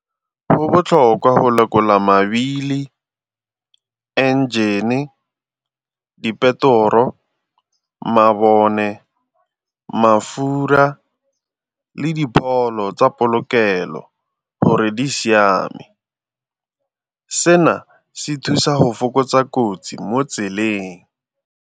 Go botlhokwa go lekola mabili le engine-e, dipetoro, mabone, mafura le dipholo tsa polokelo gore di siame. Seno se thusa go fokotsa kotsi mo tseleng.